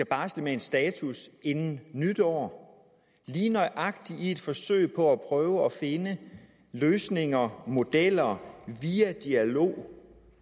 barsle med en status inden nytår lige nøjagtig i et forsøg på at prøve at finde løsninger modeller via dialog